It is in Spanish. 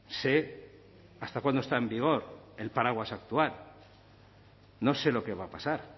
sé hasta cuándo está en vigor el paraguas actual no sé lo que va a pasar